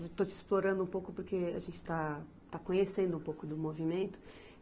Estou te explorando um pouco porque a gente está, está conhecendo um pouco do movimento.